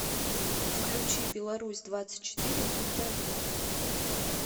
включи беларусь двадцать четыре на тв